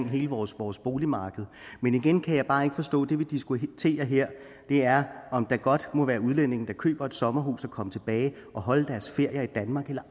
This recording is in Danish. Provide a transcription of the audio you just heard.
hele vores vores boligmarked men igen kan jeg bare ikke forstå det vi diskutere her er om der godt må være udlændinge der køber et sommerhus og kommer og holder deres ferier i danmark eller